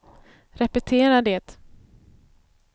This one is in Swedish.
repetera det